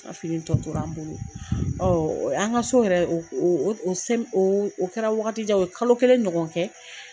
N ka fini tɔ tora an bolo. An ka so yɛrɛ o o sɛ o kɛra wagati jan o ye kalo kelen ɲɔgɔn kɛ.